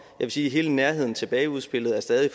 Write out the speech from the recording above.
vil sige at hele nærheden tilbage udspillet stadig